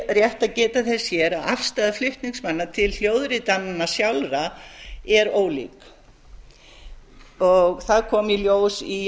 rétt að geta þess að afstaða flutningsmanna til hljóðritananna sjálfra er ólík það kom í ljós í